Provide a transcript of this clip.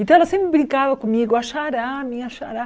Então ela sempre brincava comigo, a xará, minha xará.